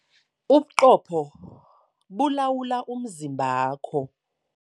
Ubuqopho bulawula umzimba wakho.